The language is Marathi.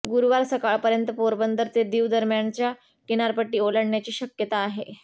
गुरुवार सकाळपर्यंत पोरबंदर ते दीव दरम्यानच्या किनारपट्टी ओलांडण्याची शक्यता आहे